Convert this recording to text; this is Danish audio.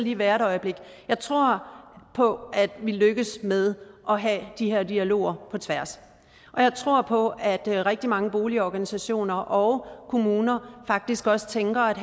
lige være et øjeblik jeg tror på at vi lykkes med at have de her dialoger på tværs og jeg tror på at rigtig mange boligorganisationer og kommuner faktisk også tænker at